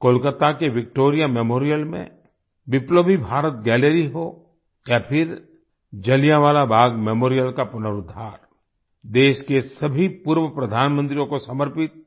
कोलकाता के Victoria Memorial में Biplobi Bharat gallery हो या फिर जलियावालां बाग मेमोरियल का पुनुरुद्धारदेश के सभी पूर्व प्रधानमंत्रियों को समर्पित